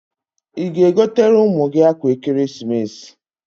Ị ga-egotere ụmụ gị akwa ekeresimesi?